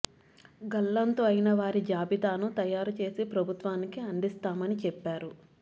గల్లంతు అయిన వారి జాబితాను తయారు చేసి ప్రభుత్వానికి అందిస్తామని చెప్పారు